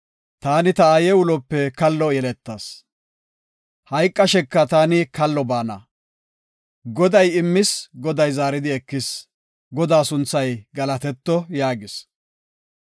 “Taani ta aaye ulope kallo yeletas; hayqasheka taani kallo baana; Goday immis; Goday zaaridi ekis; Godaa sunthay galatetto” yaagis.